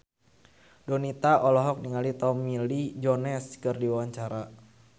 Donita olohok ningali Tommy Lee Jones keur diwawancara